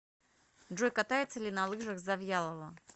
джой катается ли на лыжах завьялова